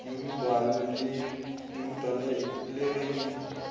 di rutwa le ge di